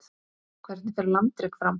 Hvernig fer landrek fram?